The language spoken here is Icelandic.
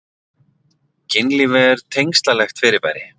Kynlíf er tengslalegt fyrirbæri.